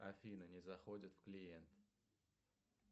афина не заходит в клиент